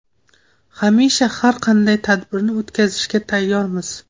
Hamisha har qanday tadbirni o‘tkazishga tayyormiz.